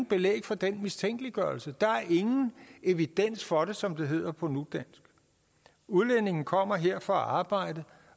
belæg for den mistænkeliggørelse der er ingen evidens for det som det hedder på nudansk udlændinge kommer her for at arbejde